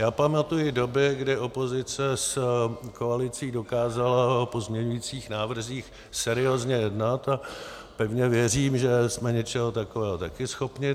Já pamatuji doby, kdy opozice s koalicí dokázala o pozměňovacích návrzích seriózně jednat, a pevně věřím, že jsme něčeho takového také schopni.